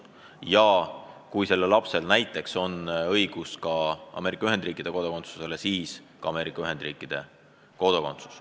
Ja kui nendel lastel näiteks on õigus ka Ameerika Ühendriikide kodakondsusele, siis on nad ka Ameerika Ühendriikide kodanikud.